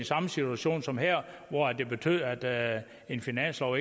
samme situation som her hvor det betød at en finanslov